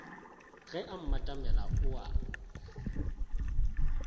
ge a mmatamela o a